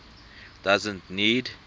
doesn t need